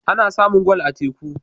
Ana samun gwal a teku.